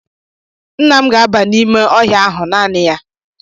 Nna m ga-aba n'ime ọhịa ahụ naanị ya